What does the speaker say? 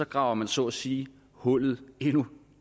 graver man så at sige hullet endnu